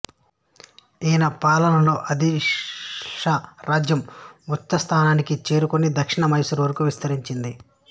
ఈయన పాలనలో ఆదిల్ షాహీ రాజ్యం ఉఛ్ఛస్థాయికి చేరుకొని దక్షిణాన మైసూరు వరకు విస్తరించింది